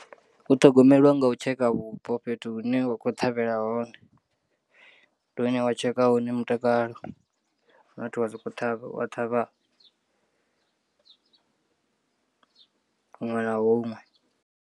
U ṱhogomelwa nga u tshekha vhupo fhethu hu ne wa khou ṱhavhela hone ndi hune wa tsheka hone mutakalo not wa sokou ṱhavha wa ṱhavha huṅwe na huṅwe.